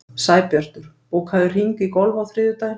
Sæbjartur, bókaðu hring í golf á þriðjudaginn.